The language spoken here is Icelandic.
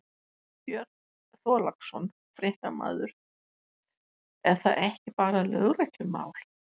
Björn Þorláksson, fréttamaður: Er það ekki bara lögreglumál?